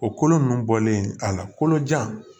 O kolo nunnu bɔlen a la kolo jan